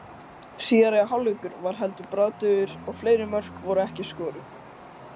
Síðari hálfleikur var heldur bragðdaufur og fleiri mörk voru ekki skoruð.